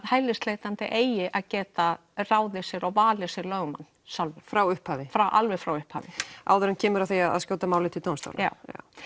hælisleitandi eigi að geta ráðið sér og valið sér lögmann sjálfur frá upphafi alveg frá upphafi áður en kemur að því að skjóta málinu til dómstóla já